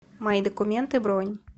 мои документы бронь